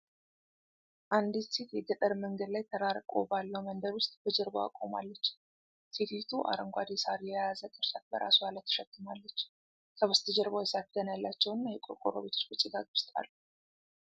አንዲት ሴት የገጠር መንገድ ላይ ተራርቆ ባለው መንደር ውስጥ በጀርባዋ ቆማለች፡፡ ሴቲቱ አረንጓዴ ሳር የያዘ ቅርጫት በራሷ ላይ ተሸክማለች፡፡ ከበስተጀርባው የሳር ክዳን ያላቸውና የቆርቆሮ ቤቶች በጭጋግ ውስጥ አሉ፡፡